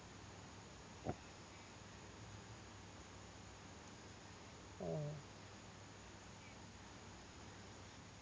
ആഹ്